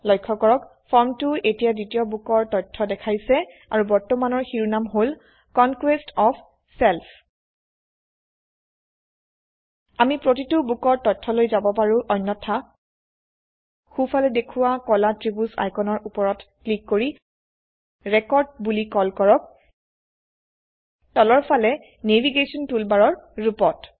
লক্ষ্য কৰক ফৰ্মটো এতিয়া দ্বিতীয় বোকৰ তথ্য দেখাইছে আৰু বৰ্তমানৰ শিৰোনাম হল কনকোয়েষ্ট অফ ছেল্ফ আমি প্ৰতিটো বোকৰ তথ্যলৈ যাব পাৰো অন্যথা সো ফালে দেখোৱা কলা ত্ৰিভূজ আইকনৰ উপৰত ক্লিক কৰি ৰেকৰ্ড বোলি কল কৰক তলৰ ফালে নেভিগেশ্যন টুলবাৰৰ ৰুপত